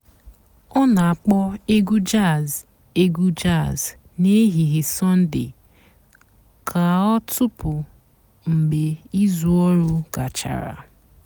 ọ́ nà-àkpọ́ ègwú jàzz ègwú jàzz n'èhìhè sọ́ndée kà ọ́ tọ́pụ́ mg̀bé ìzú ọ̀rụ́ gàchàrà.